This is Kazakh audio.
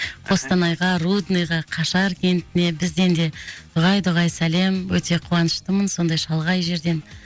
қостанайға рудныйға қашар кентіне бізден де дұғай дұғай сәлем өте қуаныштымын сондай шалғай жерден